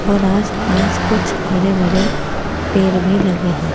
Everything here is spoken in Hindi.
और आसपास कुछ हरे भड़े पेड़ भी लगे हैं।